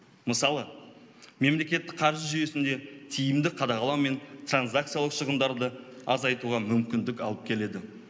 мысалы мемлекеттік қаржы жүйесінде тиімді қадағалау мен транзакциялау шығындарды азайтуға мүмкіндік алып келеді